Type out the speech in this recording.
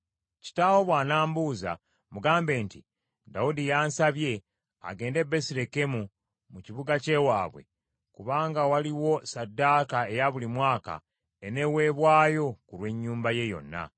Kitaawo bw’anambuuza, mugambe nti, ‘Dawudi yansabye, agende e Besirekemu, mu kibuga kye waabwe, kubanga waliwo ssaddaaka eya buli mwaka eneeweebwayo ku lw’ennyumba ye yonna.’